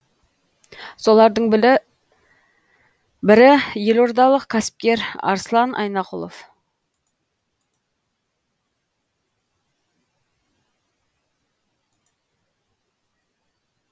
солардың бірі елордалық кәсіпкер арслан айнақұлов